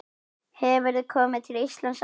Hefurðu komið til Íslands áður?